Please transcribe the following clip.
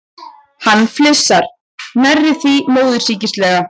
Hann flissar, nærri því móðursýkislega.